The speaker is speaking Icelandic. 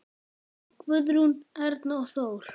Guðrún, Erna og Þór.